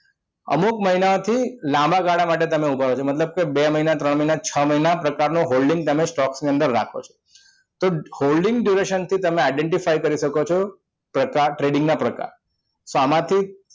અમુક મહિનાથી લાંબા ગાળા માટે તમે ઉભા રહો છો મતલબ બે મહિના ત્રણ મહિના છ મહિના પ્રકારનો holding તમે stock ની અંદર રાખો છો તો holding duration થી તમે identify કરી શકો છો પ્રકાર trading ના પ્રકાર તો આમાંથી